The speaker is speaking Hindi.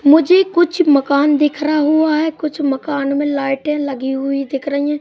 मुझे कुछ मकान दिख रहा हुआ है कुछ मकान में लाइटें लगी हुई दिख रही है।